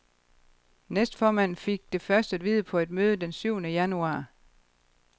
Næstformanden fik det først at vide på et møde den syvende januar.